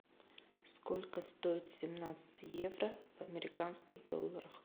сколько стоит семнадцать евро в американских долларах